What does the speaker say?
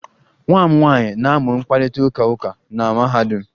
Nwa m nwanyị na-amụ mkparịta ụka uka na mahadum